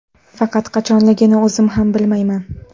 Faqat qachonligini o‘zim ham bilmayman.